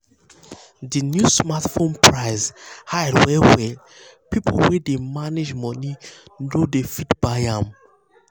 the new smartphone price um high well well people wey dey um manage money no dey fit buy am.